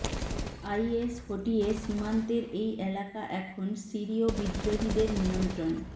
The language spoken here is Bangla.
আইএস হটিয়ে সীমান্তের এই এলাকা এখন সিরীয় বিদ্রোহীদের নিয়ন্ত্রণে